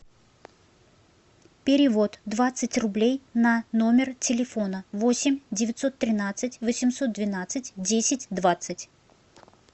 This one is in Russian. перевод двадцать рублей на номер телефона восемь девятьсот тринадцать восемьсот двенадцать десять двадцать